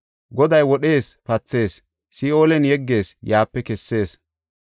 Goday wodhees, pathees; Si7oolen yeggees, yaape kessees.